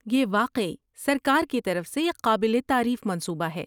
یہ واقعی سرکار کی طرف سے ایک قابل تعریف منصوبہ ہے۔